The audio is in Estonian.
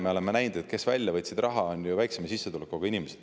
Me oleme näinud, et need, kes raha välja võtsid, on pigem ju väiksema sissetulekuga.